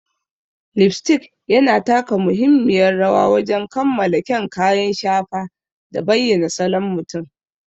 Lipstick yana taka muhimmiyar rawa wajen kammala kyan kayan shafa da bayyana salon mutum.